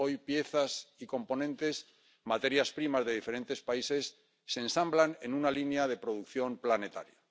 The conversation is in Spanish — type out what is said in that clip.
Hoy, piezas y componentes, materias primas de diferentes países, se ensamblan en una línea de producción planetaria.